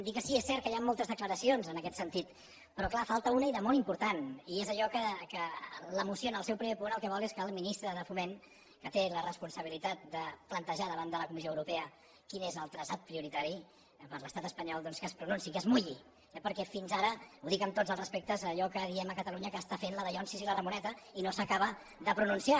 dir que sí que és cert que hi han moltes declaracions en aquest sentit però clar en falta una i de molt important i és allò que la moció en el seu primer punt el que vol és que el ministre de foment que té la responsabilitat de plantejar davant de la comissió europea quin és el traçat prioritari per a l’estat espanyol doncs es pronunciï que es mulli eh perquè fins ara i ho dic amb tots els respectes allò que diem a catalunya està fent la dallonses i la ramoneta i no s’acaba de pronunciar